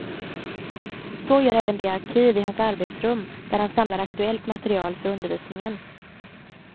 Så gör även det arkiv i hans arbetsrum där han samlar aktuellt material för undervisningen.